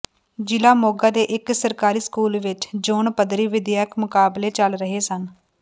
ਜ਼ਿਲ੍ਹਾ ਮੋਗਾ ਦੇ ਇਕ ਸਰਕਾਰੀ ਸਕੂਲ ਵਿਚ ਜ਼ੋਨ ਪੱਧਰੀ ਵਿੱਦਿਅਕ ਮੁਕਾਬਲੇ ਚੱਲ ਰਹੇ ਸਨ